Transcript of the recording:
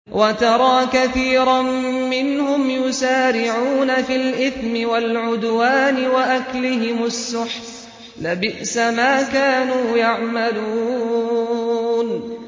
وَتَرَىٰ كَثِيرًا مِّنْهُمْ يُسَارِعُونَ فِي الْإِثْمِ وَالْعُدْوَانِ وَأَكْلِهِمُ السُّحْتَ ۚ لَبِئْسَ مَا كَانُوا يَعْمَلُونَ